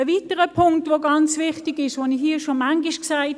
Einen weiteren wichtigen Punkt habe ich hier schon oftmals erwähnt: